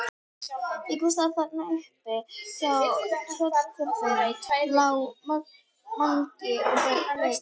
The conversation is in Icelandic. Einhversstaðar þarna uppi hjá tröllkörlunum lá Mangi og beið.